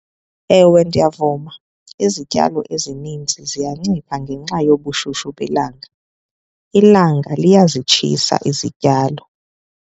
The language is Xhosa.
Ewe, ndiyavuma. Izityalo ezininzi ziyancipha ngenxa yobushushu belanga. Ilanga liyazitshisa izityalo.